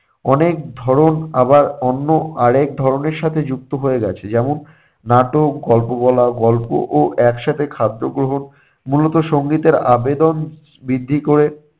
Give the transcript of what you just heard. অনেক ধরন আবার অন্য আরেক ধরনের সাথে যুক্ত হয়ে গেছে। যেমন নাটক, গল্প বলা, গল্প ও একসাথে খাদ্য গ্রহণ মূলত সংগীতের আবেদন বৃদ্ধি ক'রে।